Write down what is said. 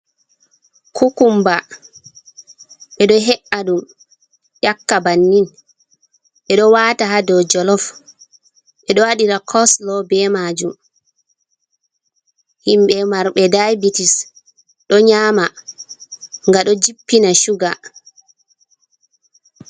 Kukumba. Ɓe ɗo he’a ɗum ƴakka bannin, ɓe ɗo wata ha dow jolof, ɓe ɗo waɗira gosilo be majum. Himɓe marɓe daibitis ɗo nyama ga ɗo jippina shuga.